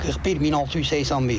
41681.